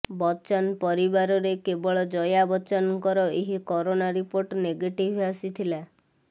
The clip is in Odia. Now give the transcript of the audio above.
ବଚ୍ଚନ ପରିବାରରେ କେବଳ ଜୟା ବଚ୍ଚନଙ୍କର ହିଁ କରୋନା ରିପୋର୍ଟ ନେଗେଟିଭ୍ ଆସିଥିଲା